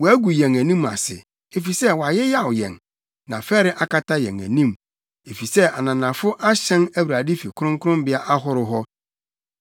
“Wɔagu yɛn anim ase, efisɛ wayeyaw yɛn na fɛre akata yɛn anim, efisɛ ananafo ahyɛn Awurade fi kronkronbea ahorow hɔ.”